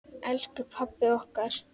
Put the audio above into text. Elsku pabbi okkar.